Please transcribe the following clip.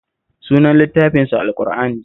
Sunan littafinsu Al-ƙur'ani